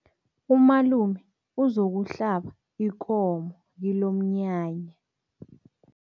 Umalume uzokuhlaba ikomo kilomnyanya.